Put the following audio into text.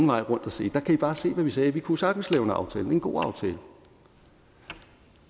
vej rundt at sige der kan i bare se hvad vi sagde vi kunne jo sagtens lave en aftale og en god aftale